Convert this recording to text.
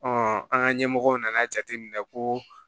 an ka ɲɛmɔgɔw nan'a jateminɛ ko